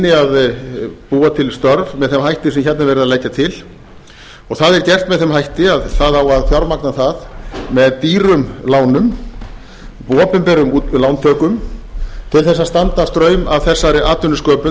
að búa til störf með þeim hætti sem hérna er verið að leggja til og það er gert með þeim hæstvirtur að það á að fjármagna það með dýrum lánum opinberum lántökum til að standa straum af þessari